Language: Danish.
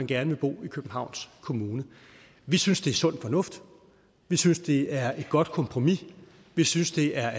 gerne vil bo i københavns kommune vi synes det er sund fornuft vi synes det er et godt kompromis vi synes det er at